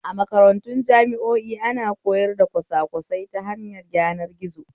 A makarantun jami'o'i ana koyar kwasakwasai ta hanyar yanar gizo